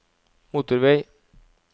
motorvei